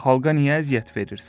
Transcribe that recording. Xalqa niyə əziyyət verirsən?